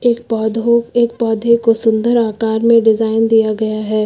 एक पौधों एक पौधे को सुन्दर आकार में डिजाइन दिया गया है।